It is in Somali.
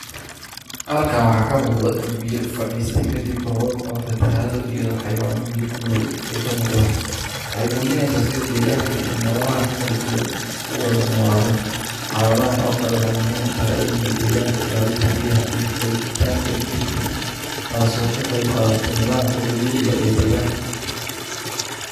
Halkan waxa ka muuqda dhul biyo, fadhiista ka dib roroob oo fatahaado iyadoo xayawaano biyo ku nool ay ka muuqdan. Waxay muujinaysa sida deegaanka iyo nololeaha kala duwan uga noolaadaan. Xaaladaan oo kale waxay muhiim u tahay cilmiga deegaanka, ilaalin tabiiyaha, iyo qooritaanka digirta taaso ka qeyb qaata nidaamka dabiiciga ee deegaanka.